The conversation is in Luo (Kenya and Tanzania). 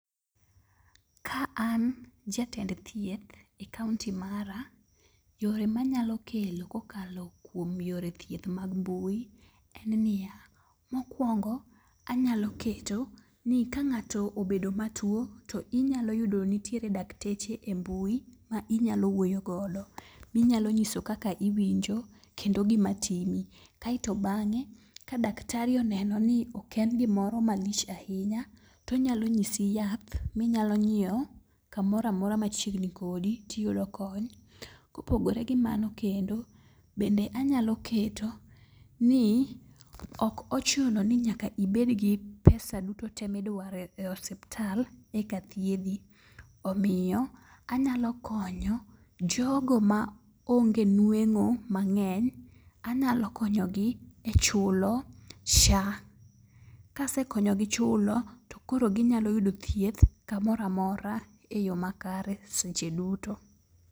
Ka an jatend thieth e kaonti mara, yore manyalo kelo kokalo kuom yore thieth mag mbui en niya. Mokwongo, anyalo keto ni ka ng'ato obedo ma tuo, to inyalo yudo nitiere dakteche e mbui ma inyalo wuoyo godo. Minyalo nyiso kaka iwinjo, kendo gima timi. Keto bang'e, ka daktari oneno ni ok en gimoro malich ahinya, tonyalo nyisi yath minyalo nyiewo kamora mora machiegni kodi tiyudo kony. Kopogore gi mano kendo, bende anyalo keto ni ok ochuno ni nyaka ibed gi pesa duto te midware e osiptal eka thiedhi. Omiyo anyalo konyo jgo ma onge nweng'o mang'eny, anyalo konyo gi e chulo SHA. Kase konyogi chulo, to koro ginyalo yudo thieth kamora mora e yo makare seche duto.